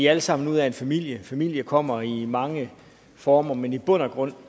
alle sammen ud af en familie familie kommer i mange former men i bund og grund